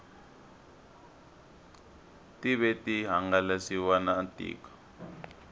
tive ti hangalasiwa na tiko